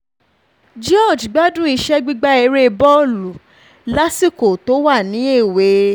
george gbádùn iṣẹ́ gbígba ère bọ́ọ̀lù lásìkò tó wà ní ewé